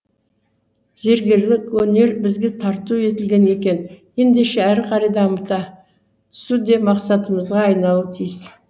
зергерлік өнер бізге тарту етілген екен ендеше әрі қарай дамыта түсу де мақсатымызға айналуы тиіс